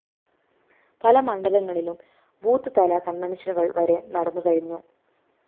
പല മണ്ഡലങ്ങളിലും ബൂത്ത്‌ തല കണ്‍വന്‍ഷനുകള്‍ വരെ നടന്നു കഴിഞ്ഞു